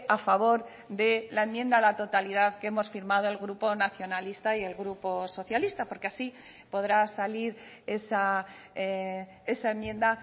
a favor de la enmienda a la totalidad que hemos firmado el grupo nacionalista y el grupo socialista porque así podrá salir esa enmienda